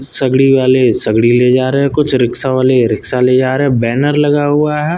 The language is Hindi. सगड़ी वाले सगड़ी ले जा रहे हैं कुछ रिक्शा वाले रिक्शा ले जा रहे हैं बैनर लगा हुआ है।